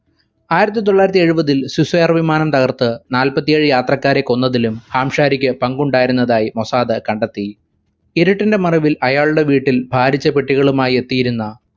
ആയിരത്തി തൊള്ളായിരത്തി എഴുപതിൽ swiss air വിമാനം തകർത്തു നാല്പത്തേഴു യാത്രക്കാരെ കൊന്നതിലും ഹാംശാരിക്ക് പങ്കുണ്ടായിരുന്നതായി മൊസാദ് കണ്ടെത്തി. ഇരുട്ടിന്റെ മറവിൽ അയാളുടെ വീട്ടിൽ ഭാരിച്ച പെട്ടികളുമായി എത്തിയിരുന്ന